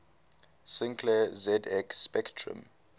sinclair zx spectrum